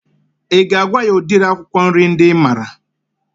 I ga-agwa ya udiri akwụkwọ nri ndị I maara?